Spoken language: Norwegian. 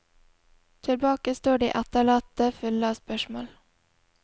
Tilbake står de etterlatte fulle av spørsmål.